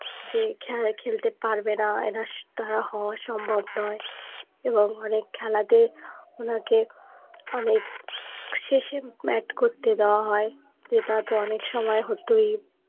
সে খেলা খেলতে পারবেনা এনার দ্বারা হওয়া সম্ভব নয় এবং অনেক খেলাতে ওনাকে অনেক শেষে bat করতে দেয়া হয়ে যেটা তো অনেক সময় হতোই